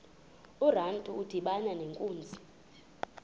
urantu udibana nenkunzi